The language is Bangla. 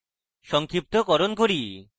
সংক্ষিপ্তকরণ করি